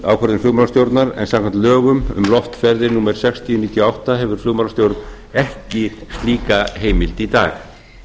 ákvörðun flugmálastjórnar en samkvæmt lögum um loftferðir númer sextíu nítján hundruð níutíu og átta hefur flugmálastjórn ekki slíka heimild í dag